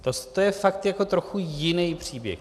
To je fakt trochu jiný příběh.